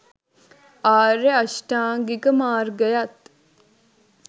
ආර්ය අෂ්ටාංගික මාර්ගයත්